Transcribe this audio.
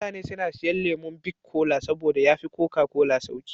Mutane suna siyan lemon bik kola saboda ya fi koka kola sauƙi.